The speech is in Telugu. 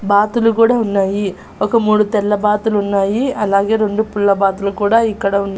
బాతులు కూడా ఉన్నాయి ఒక మూడు తెల్ల బాతులున్నాయి అలాగే రెండు పిల్ల బాతులు కూడా ఇక్కడ ఉన్--